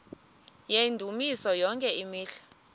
yendumiso yonke imihla